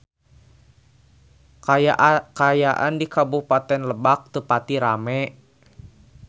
Kaayaan di Kabupaten Lebak teu pati rame